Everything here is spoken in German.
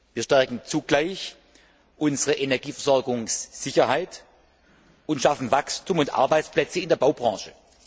Wir stärken dadurch zugleich unsere Energieversorgungssicherheit und schaffen Wachstum und Arbeitsplätze in der Baubranche.